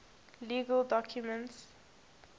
legal documents